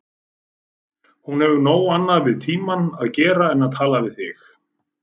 Hún hefur nóg annað við tímann að gera en tala við þig.